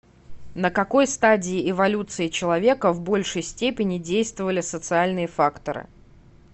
на какой стадии эволюции человека в большей степени действовали социальные факторы